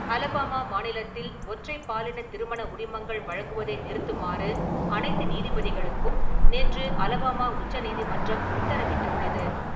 Alabama மாநிலத்தில் ஒற்றைப் பாலினத் திருமண உரிமங்கள் வழங்குவதை நிறுத்துமாறு அனைத்து நீதிபதிகளுக்கும் நேற்று அலபாமா உச்சநீதிமன்றம் உத்தரவிட்டுள்ளது.